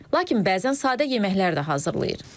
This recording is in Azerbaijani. Lakin bəzən sadə yeməklər də hazırlayır.